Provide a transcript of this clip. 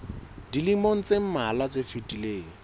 dilemong tse mmalwa tse fetileng